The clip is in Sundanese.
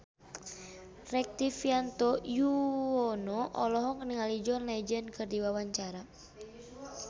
Rektivianto Yoewono olohok ningali John Legend keur diwawancara